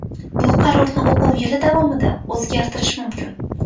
Bu qarorni o‘quv yili davomida o‘zgartirish mumkin.